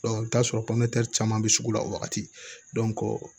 i bi t'a sɔrɔ caman bɛ sugu la o wagati